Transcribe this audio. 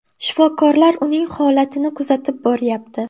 Shifokorlar uning holatini kuzatib boryapti.